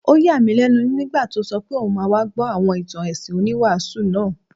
Ó yà mí lẹ́nu nígbà tó sọ pé òun máa wá gbọ́ àwọn ìtàn ẹ̀sìn oníwàásù náà